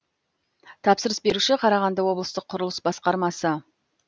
тапсырыс беруші қарағанды облыстық құрылыс басқармасы